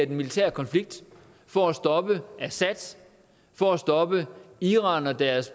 den militære konflikt for at stoppe assad for at stoppe iran og deres